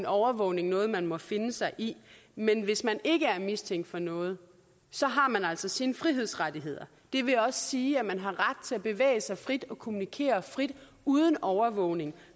overvågning noget man må finde sig i men hvis man ikke er mistænkt for noget har man altså sine frihedsrettigheder det vil også sige at man har ret til at bevæge sig frit og kommunikere frit uden overvågning